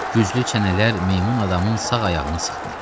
Güclü çənələr meymun adamın sağ ayağını sıxdı.